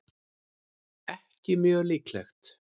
ekki mjög líklegt